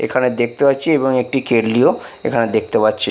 এখানে দেখতে পাচ্ছি এবং একটি কেটলি -ও এখানে দেখতে পাচ্ছি।